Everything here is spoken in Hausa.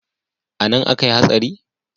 Anan akai hatsari?